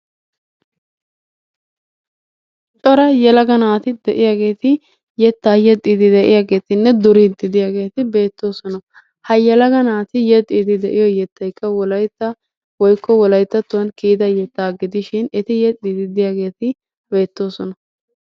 Cora yelaga naati de'iyaageeti yettaa yexxidi de'iyaageettinne duriidi de'iyaagetti beettoosona. Ha yelaga naati yexxiidi de'iyo yeettay wolaytta woikko wolaytattuwan kiyida yeetaa gidishin eti yexxidi diyaageetti beettoosona.